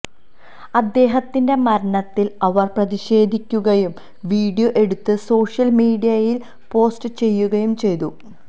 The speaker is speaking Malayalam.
ഇദ്ദേഹത്തിന്റെ മരണത്തില് അവര് പ്രതിഷേധിക്കുകയും വീഡിയോ എടുത്ത് സോഷ്യല് മീഡിയയില് പോസ്റ്റ് ചെയ്യുകയും ചെയ്തു